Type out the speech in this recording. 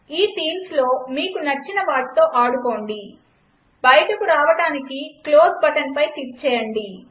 ఈ థీమ్స్లో మీకు నచ్చిన వాటితో ఆడుకోండి బయటకు రావడానికి క్లోజ్ బటన్పై క్లిక్ చేయండి